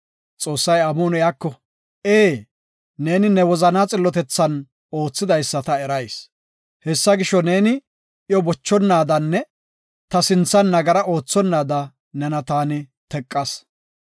Xoossay amuhon iyako, “Ee, neeni ne wozana xillotethan oothidaysa ta erayis. Hessa gisho, neeni iyo bochonaadanne ta sinthan nagara oothonnaada nena taani teqas.